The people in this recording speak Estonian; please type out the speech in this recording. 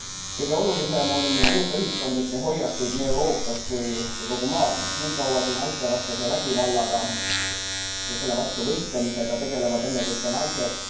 Kõige olulisem on muuta ühiskondlikke hoiakuid nii Euroopas kui ka kogu maailmas, niikaua kui naistevastase vägivallaga ja selle vastu võitlemisega tegelevad ennekõike naised.